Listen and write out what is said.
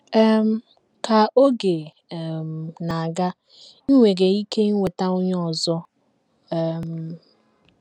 um Ka oge um na - aga, i nwere ike inweta onye ọzọ. um